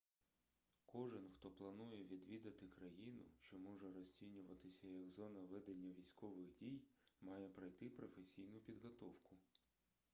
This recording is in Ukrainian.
кожен хто планує відвідати країну що може розцінюватися як зона ведення військових дій має пройти професійну підготовку